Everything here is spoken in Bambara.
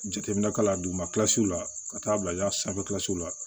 Jateminɛ ka la duguma la ka taa bila sanfɛlasiw la